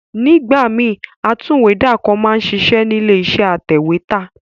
Nígbà míì, atúwèédàkọ máa ń ṣiṣẹ́ nílé iṣẹ́ atẹ̀wẹ́tà